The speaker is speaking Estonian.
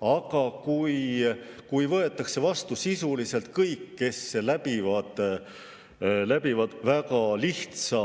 Aga kui võetakse vastu sisuliselt kõik, kes läbivad väga lihtsa